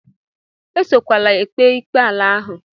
Esokwala ekpe ikpe ala ahụ!